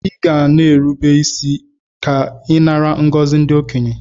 Iga na erube isi ke inara ngozi ndi okenye!!